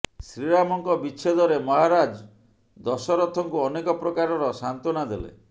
ଶ୍ରୀରାମଙ୍କ ବିଚ୍ଛେଦରେ ମହାରାଜ ଦଶରଥଙ୍କୁ ଅନେକ ପ୍ରକାରର ସାନ୍ତ୍ୱନା ଦେଲେ